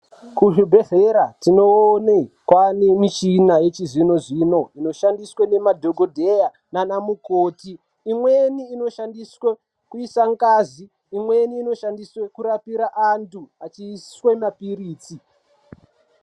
Kuzvibhedhlera tinoone kwaane mishina yechizvino-zvino, inoshandiswe nemadhogodheya naana mukoti. Imweni inoshandiswe kuisa ngazi, imweni inoshandiswe kurapira antu, achiiswe mapiritsi.